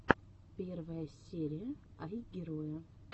первая серия айгероя